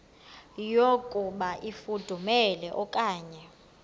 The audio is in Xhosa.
yokuba ifudumele okanye